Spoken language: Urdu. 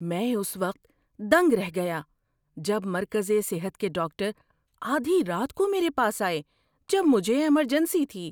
‏میں اس وقت دنگ رہ گیا جب مرکزِ صحت کے ڈاکٹر آدھی رات کو میرے پاس آئے جب مجھے ایمرجنسی تھی۔